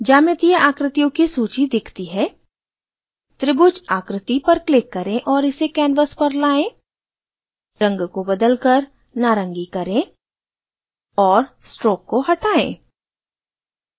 ज्यामितीय आकृतियों की सूची दिखती है